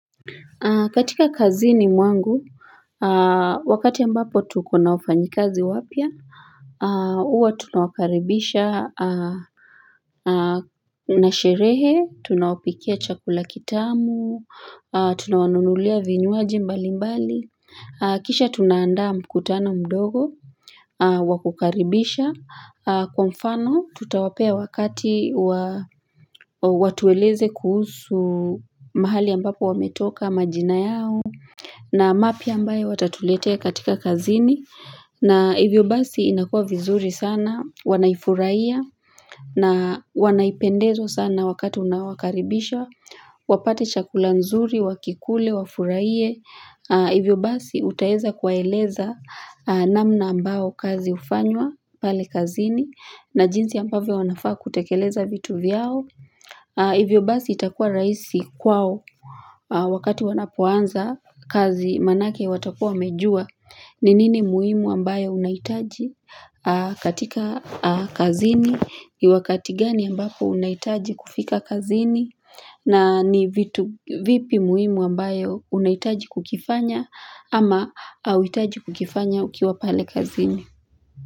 Katika kazini mwangu wakati ambapo tuko na wafanyikazi wapya huwa tunawakaribisha na sherehe tunawapikia chakula kitamu tunawanunulia vinyuaji mbali mbali kisha tunaandaa mkutano mdogo wa kukaribisha Kwa mfano tutawapea wakati watueleze kuhusu mahali ambapo wametoka majina yao na mapya ambaye watatuletea katika kazini na hivyo basi inakua vizuri sana Wanaifuraiya na wanaipendezwa sana wakati unawakaribisha wapate chakula nzuri, wakikule, wafuraiye Hivyo basi utaeza kuwaeleza namna ambao kazi hufanywa pale kazini na jinsi ambavyo wanafaa kutekeleza vitu vyao. Hivyo basi itakua raisi kwao wakati wanapoanza kazi manake watakua wamejua ni nini muhimu ambayo unaitaji katika kazini, wakati gani ambapo unaitaji kufika kazini, na ni vipi muhimu ambayo unaitaji kukifanya ama hauitaji kukifanya ukiwa pale kazini.